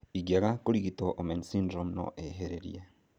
Ingiaga kurigitwo, Omenn syndrome noĩhĩrĩrie